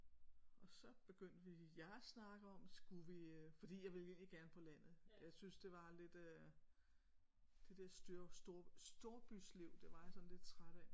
Og så begyndte vi jeg snakker om skulle vi fordi jeg ville egentlig gerne på landet jeg synes det var lidt øh det der styr storbysliv det var jeg sådan lidt træt af